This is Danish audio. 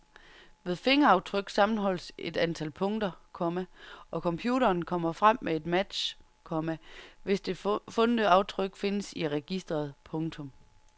Ved fingeraftryk sammenholdes et antal punkter, komma og computeren kommer frem med en match, komma hvis det fundne aftryk findes i registret. punktum